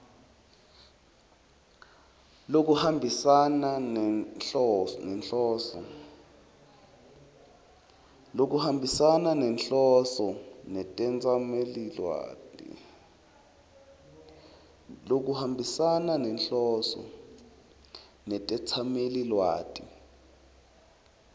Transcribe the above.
lokuhambisana nenhloso netetsamelilwati